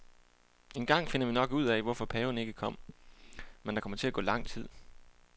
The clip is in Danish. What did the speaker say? Engang finder vi nok ud af, hvorfor paven ikke kom, men der kommer til at gå lang tid.